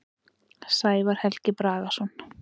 Sævar Helgi Bragason.